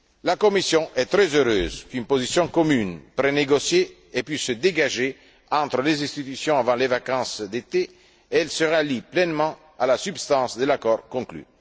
La Commission est très heureuse qu'une position commune prénégociée ait pu se dégager entre les institutions avant les vacances d'été et elle se rallie pleinement à la substance de l'accord conclu.